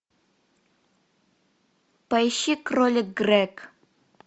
поищи кролик грег